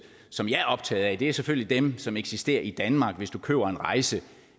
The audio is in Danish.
som jeg er optaget af er selvfølgelig dem som eksisterer i danmark hvis du køber en rejse